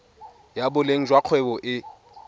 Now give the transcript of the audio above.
ya boleng jwa kgwebo e